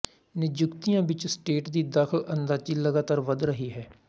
ਨਿਯੁਕਤੀਆਂ ਵਿੱਚ ਸਟੇਟ ਦੀ ਦਖਲਅੰਦਾਜ਼ੀ ਲਗਾਤਾਰ ਵੱਧ ਰਹੀ ਹੈ